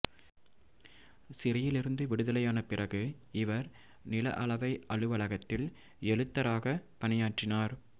சிறையிலிருந்து விடுதலையான பிறகு இவர் நில அளவை அலுவலகத்தில் எழுத்தராக பணியாற்றினார்